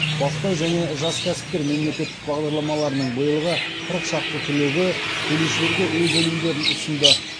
бастау және жас кәсіпкер мемлекеттік бағдарламаларының биылғы қырық шақты түлегі келушілерге өз өнімдерін ұсынды